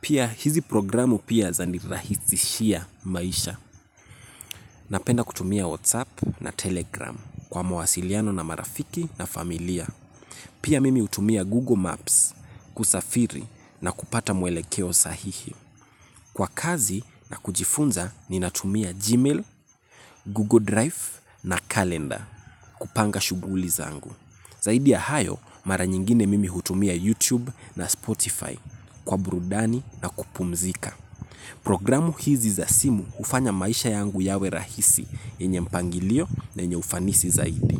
Pia hizi programu pia zanirahishia maisha. Napenda kutumia WhatsApp na Telegram kwa mawasiliano na marafiki na familia. Pia mimi hutumia Google Maps kusafiri na kupata mwelekeo sahihi kwa kazi na kujifunza ninatumia Gmail, Google Drive na Calendar kupanga shughuli zangu. Zaidi ya hayo mara nyingine mimi hutumia YouTube na Spotify kwa burudani na kupumzika. Programu hizi za simu hufanya maisha yangu yawe rahisi yenye mpangilio na yenye ufanisi zaidi.